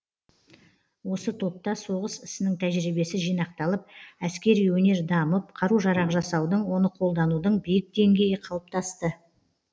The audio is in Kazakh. осы топта соғыс ісінің тәжірибесі жинақталып әскери өнер дамып қару жарақ жасаудың оны қолданудың биік деңгейі қалыптасты